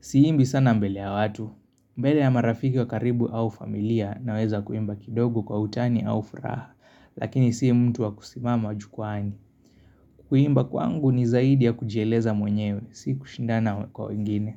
siimbi sana mbele ya watu mbele ya marafiki wa karibu au familia naweza kuimba kidogo kwa utani au furaha Lakini si mtu wa kusimama jukwani Kuimba kwangu ni zaidi ya kujieleza mwenyewe, si kushindana kwa wengine.